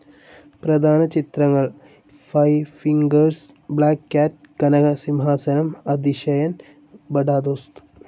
പ്രധാന ചിത്രങ്ങൾ five fingers, black cat, Kanakasimhasanam, Athisayan, Bada ദോസ്ത്.